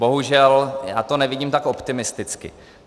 Bohužel já to nevidím tak optimisticky.